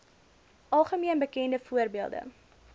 algemeen bekende voorbeelde